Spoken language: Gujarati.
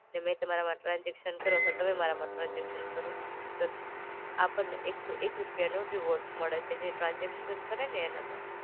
ને મેં તમારામાં ટ્રાન્સઝેકશન કરું અથવા તમે મારામાં ટ્રાન્સઝેકશન કરો. પ આપણે એક સો એક સો એક રૂપિયાનો રિવોર્ડ મળે છે, જે ટ્રાન્સઝેકશન કરેને એને